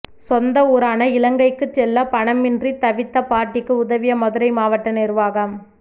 சொந்த ஊரான இலங்கைக்கு செல்ல பணமின்றித் தவித்த பாட்டிக்கு உதவிய மதுரை மாவட்ட நிர்வாகம்